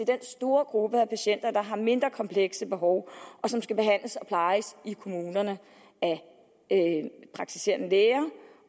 den store gruppe af patienter der har mindre komplekse behov og som skal behandles og plejes i kommunerne af praktiserende læger